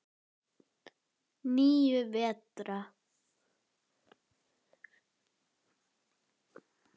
Níu vetra.